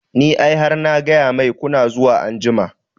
Ni ai har na gaya mai kuna zuwa anjima